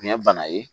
Nin ye bana ye